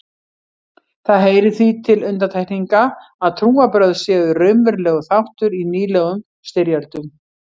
Það heyrir því til undantekninga að trúarbrögð séu raunverulegur þáttur í nýlegum styrjöldum.